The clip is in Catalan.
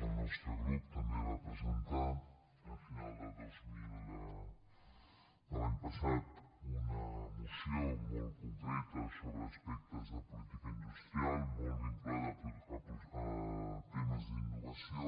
el nostre grup també va presentar a final de l’any passat una moció molt concreta sobre aspectes de política industrial molt vinculada a temes d’innovació